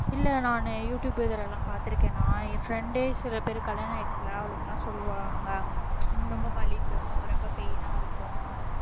இல்லை நானு யூடுயூப் இதுலெல்லாம் பார்த்திருக்கேன்னா என் friend ஏ சில பேர் கல்யாணம் ஆயிடுச்சு இல்லை அவளுங்கெல்லாம் சொல்லுவாங்க ரொம்ப வலிக்கும் ரொம்ப pain ஆ இருக்கும்